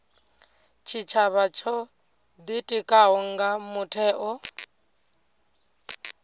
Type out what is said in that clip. tshitshavha tsho ḓitikaho nga mutheo